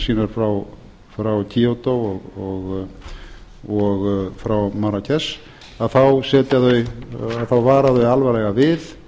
skuldbindingar sínar frá kyoto og frá marrakesh að þá vara þau alvarlega við